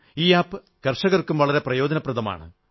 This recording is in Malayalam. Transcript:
ഈ ആപ് കർഷകർക്കും വളരെ പ്രയോജനപ്രദമാണ്